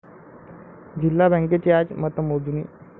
जिल्हा बँकेची आज मतमोजणी